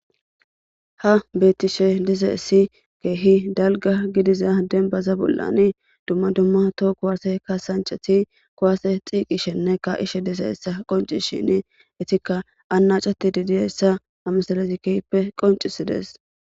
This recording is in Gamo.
Taw betishe dizays kehi dalga gidiza danba bolan duma duma toho kwase kasantshati kuwase tiqshinne ka'ishin dizaysa qonchishen, etka anachetde diyisa ha misle kehipe qonchisdes.